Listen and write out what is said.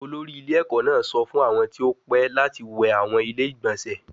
Olori ile eko naa sọ fun awọn ti o pẹ lati wẹ awọn ile-igbọnsẹ